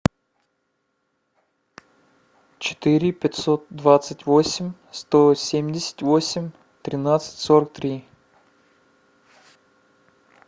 четыре пятьсот двадцать восемь сто семьдесят восемь тринадцать сорок три